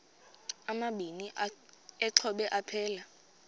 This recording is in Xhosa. amabini exhobe aphelela